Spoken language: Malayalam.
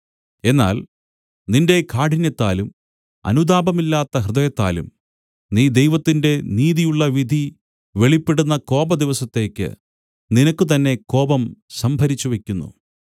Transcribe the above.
എന്നാൽ നിന്റെ കാഠിന്യത്താലും അനുതാപമില്ലാത്ത ഹൃദയത്താലും നീ ദൈവത്തിന്റെ നീതിയുള്ള വിധി വെളിപ്പെടുന്ന കോപദിവസത്തേക്ക് നിനക്കുതന്നെ കോപം സംഭരിച്ചുവെക്കുന്നു